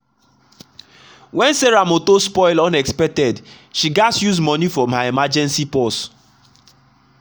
when sarah motor spoil unexpected she gatz use money from her emergency purse.